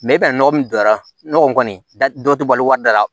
i bɛn'a nɔgɔ min don a la o kɔni da dɔ tɛ balo wari da la